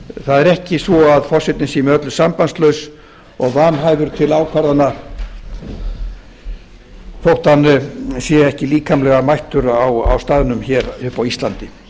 það er ekki svo að forsetinn sé með öllu sambandslaus og vanhæfur til ákvarðana þótt hann sé ekki líkamlega mættur á staðnum uppi á íslandi